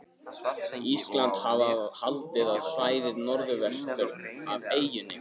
Íslandi, hafa haldið á svæðið norðvestur af eyjunni.